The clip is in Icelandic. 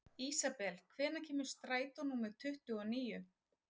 Ísabel, hvenær kemur strætó númer tuttugu og níu?